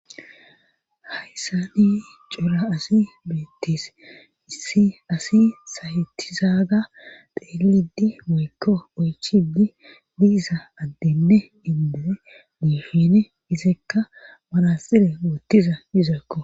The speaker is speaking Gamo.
hayssa ni cora asi beettis issi asi sayettizaaga deelidi moykko oychidi diisa addenne indoe niifene izekka manaxire woottiza izakko